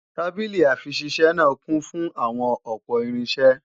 Tábìlì-àfiṣisẹ́ náà kún fún àwọn ọ̀pọ̀ irinṣẹ́